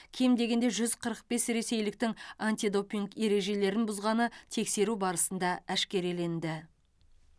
кем дегенде жүз қырық бес ресейліктің антидопинг ережелерін бұзғаны тексеру барысында әшкереленді